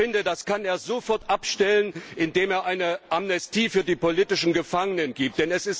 Ich finde, das kann er sofort abstellen, indem er eine Amnestie für die politischen Gefangenen verabschiedet.